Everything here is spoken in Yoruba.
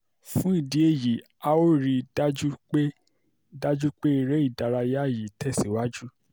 fún ìdí èyí a ó rí i dájú pé dájú pé eré ìdárayá yìí tẹ̀síwájú